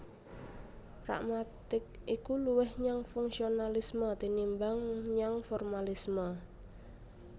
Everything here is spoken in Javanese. Pragmatik iku luwih nyang fungsionalisme tinimbang nyang formalisme